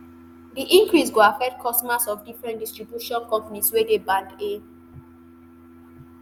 di increase go affect customers of different distribution companies wey dey band a